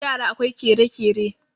yara akwai kere-kere